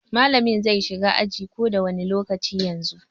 Mallamin zai shigo ajin ko da wani lokaci daga yanzu.